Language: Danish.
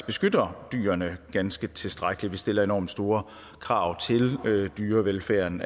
beskytter dyrene ganske tilstrækkeligt vi stiller allerede enormt store krav til dyrevelfærden